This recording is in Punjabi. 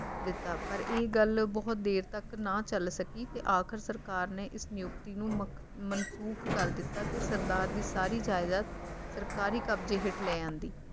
ਦਿੱਤਾ ਪਰ ਇਹ ਗੱਲ ਬਹੁਤ ਦੇਰ ਤੱਕ ਨਾ ਚੱਲ ਸਕੀ ਤੇ ਆਖਿਰ ਸਰਕਾਰ ਨੇ ਇਸ ਨਿਯੁਕਤੀ ਨੂੰ ਮੁਕ ਮਨਸੂਖ ਕਰ ਦਿੱਤਾ ਤੇ ਸਰਦਾਰ ਦੀ ਸਾਰੀ ਜਾਇਦਾਦ ਸਰਕਾਰੀ ਕਬਜੇ ਹੇਠ ਲੈ ਆਂਦੀ